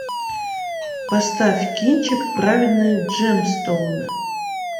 поставь кинчик праведные джемстоуны